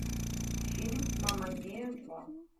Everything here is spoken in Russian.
фильм мама мия два